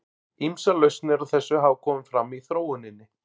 Ýmsar lausnir á þessu hafa komið fram í þróuninni.